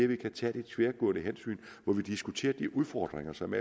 vi kan tage det tværgående hensyn hvor vi diskuterer de udfordringer som